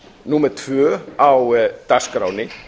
númer tvö á dagskránni